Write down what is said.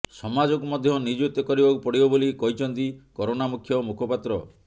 ସମାଜକୁ ମଧ୍ୟ ନିୟୋଜିତ କରିବାକୁ ପଡିବ ବୋଲି କହିଛନ୍ତି କରୋନା ମୁଖ୍ୟ ମୁଖପାତ୍ର